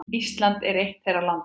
Ísland er eitt þeirra landa.